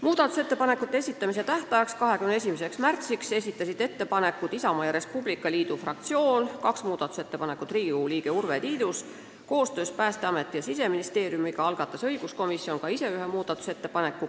Muudatusettepanekute esitamise tähtajaks ehk 21. märtsiks esitasid ettepanekud Isamaa ja Res Publica Liidu fraktsioon, kaks muudatusettepanekut esitas Riigikogu liige Urve Tiidus ning koostöös Päästeameti ja Siseministeeriumiga algatas õiguskomisjon ka ise ühe muudatusettepaneku.